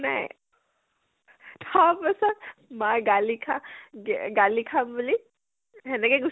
নাই । তাৰ পিছত মায়ে গালি খা গে গালি খাম বুলি সেনেকে গুচি আহিলো ।